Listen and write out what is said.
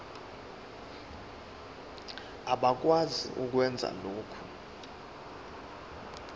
abakwazi ukwenza lokhu